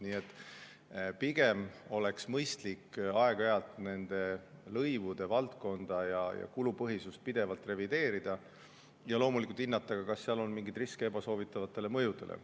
Nii et pigem oleks mõistlik aeg-ajalt lõivude valdkonda ja kulupõhisust pidevalt revideerida ning loomulikult hinnata, kas seal on mingeid riske ebasoovitavatele mõjudele.